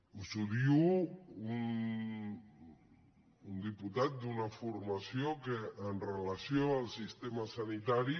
us ho diu un diputat d’una formació que amb relació al sistema sanitari